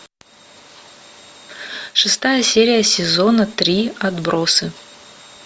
шестая серия сезона три отбросы